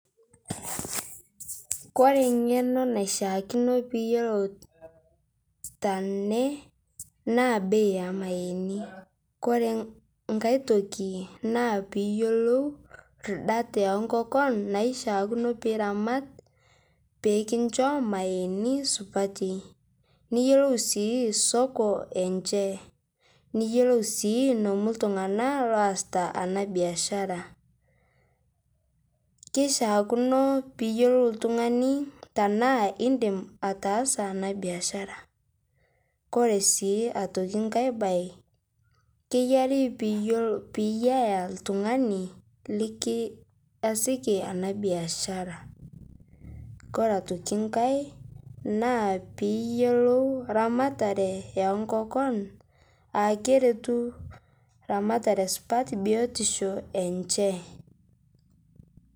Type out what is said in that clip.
Kore ng'eno naishiakino peyilot tenee naa bei emayeni kore ng'ai tokii naa piiyolou ridat enkokon naishiakino piramat pikinsho mayeeni supatii niyelou sii soko enshe niyelou sii nomuu ltung'ana laosita ana biashara, keishiakino piyolou ltung'ani tanaa indim ataasa ana biashara kore sii otoki ng'ai bai keyari piiyaa ltung'ani likiasiki ana biashara . Kore otoki ng'ai naa piiyolou ramataree enkokon aa keretu ramataree supat biotisho enshe.